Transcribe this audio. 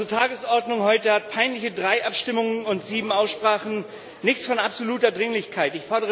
Unsere Tagesordnung hat peinliche drei Abstimmungen und sieben Aussprachen nichts von absoluter Dringlichkeit!